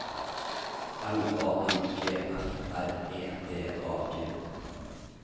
L A N G F R E D A G